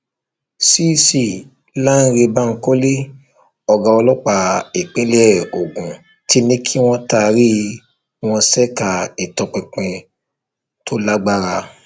cc lánrẹ bankole ọgá ọlọpàá ìpínlẹ ogun ti ní kí wọn taari wọn ṣèkà ìtọpinpin tó lágbára